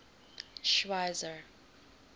schweizer